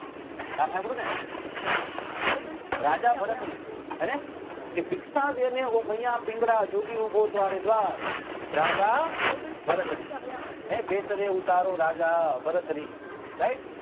નામ હામ્ભ્ળ્યું ની રાજા ભરત્રી હેને કે ભિક્ષા દેને ઓ મૈયા પિંગલા જોગી ઉભો તારે દ્વાર રાજા ભરત્રી એ બેસ રે ઉતારો રાજા ભરત્રી right